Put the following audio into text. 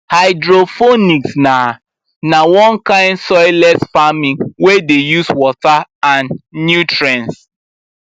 hydroponics na na one kind soilless farming wey dey use water and nutrients